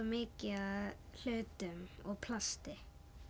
mikið af hlutum og plasti